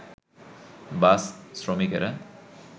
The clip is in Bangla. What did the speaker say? বাস শ্রমিকেরা